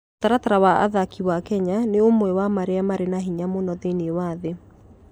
Mũtaratara wa athaki wa Kenya nĩ ũmwe wa marĩa marĩ na hinya mũno thĩinĩ wa thĩ.